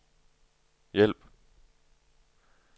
hjælp